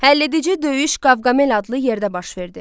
Həll edici döyüş Qavqamel adlı yerdə baş verdi.